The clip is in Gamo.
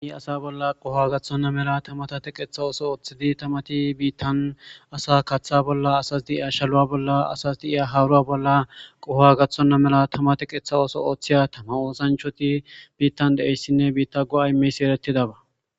Asa bolla qoho gaththonna mela tamatate qeeththa ooso ooththidi tamati biittan asa kaaththa bolla asas deiya shalu'a bolla asas diiya haaruwa bolla qoho gaththonna mela tamate qeeththa ooso ooththiya tama oosanchoti biittan deeyssinne biitta go'a imeys eretidaba.